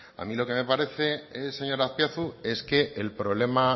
a mí lo que me parece señora azpiazu es que el problema